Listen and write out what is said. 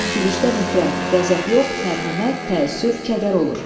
Bəzən gülüşdən nifrət, qəzəb yox, mərhəmət, təəssüf, kədər olur.